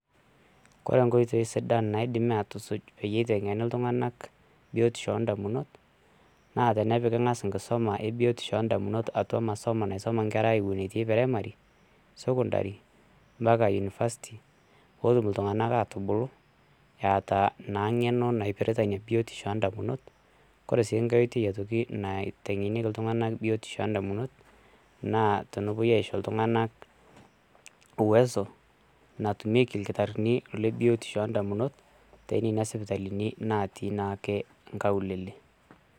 Koree nkoitoi sidan naidimi aatusuj peyie eitengeni ltunganak biotisho oondamunot naa tenepiki ang'as nkisuma ebiotisho endamunot atua masomo naisuma inkerra ewonetii primary, secondary mpaka university pootum ltunganka aatubulu eata naa ng'eno naipirita insa biotisho oondamunot ,kore sii inkae oitoi aitoki naitengenieki ltungana biotiho ee indamunot naa tenepoi aisho ltunganak uweso natumeki lkitarini le biotisho oondamunot te nenia sipitalini natii naake inkaulele.